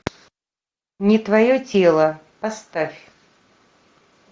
не твое тело поставь